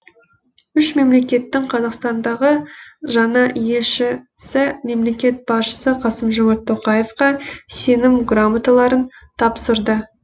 үш мемлекеттің қазақстандағы жаңа елшісі мемлекет басшысы қасым жомарт тоқаевқа сенім грамоталарын тапсырды